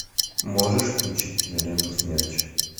можешь включить киноленту смерч